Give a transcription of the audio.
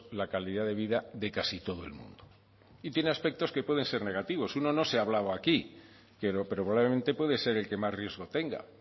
la calidad de vida de casi todo el mundo y tiene aspectos que pueden ser negativos uno no se ha hablado aquí pero probablemente puede ser el que más riesgo tenga